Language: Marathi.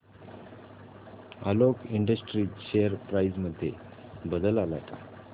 आलोक इंडस्ट्रीज शेअर प्राइस मध्ये बदल आलाय का